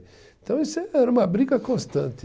Então isso eh, era uma briga constante.